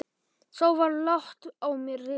Þá var lágt á mér risið.